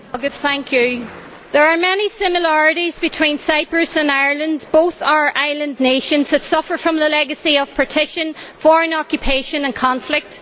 Mr President, there are many similarities between Cyprus and Ireland both are island nations that suffer from the legacy of partition, foreign occupation and conflict.